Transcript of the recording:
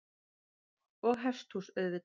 Og hesthús auðvitað.